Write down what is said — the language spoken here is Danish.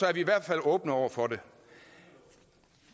er vi i hvert fald åbne over for det